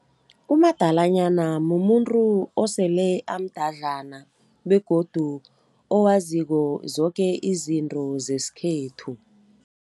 Umadalanyana mumuntu osele amdadlana begodu owaziko zoke izinto zesikhethu.